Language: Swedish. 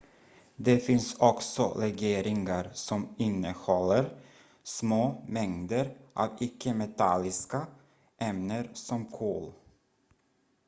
det finns också legeringar som innehåller små mängder av icke-metalliska ämnen som kol